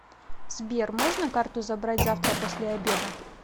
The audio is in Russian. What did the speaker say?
сбер можно карту забрать завтра после обеда